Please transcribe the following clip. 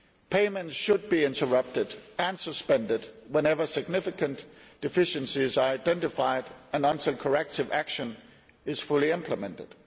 Payment should be interrupted and suspended whenever significant deficiencies are identified and until corrective action is fully implemented.